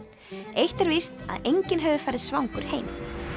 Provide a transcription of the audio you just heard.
eitt er víst að enginn hefur farið svangur heim